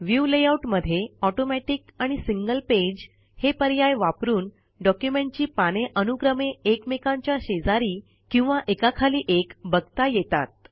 view layout मध्ये automatic आणि single page हे पर्याय वापरून डॉक्युमेंटची पाने अनुक्रमे एकमेकांच्या शेजारी किंवा एकाखाली एक बघता येतात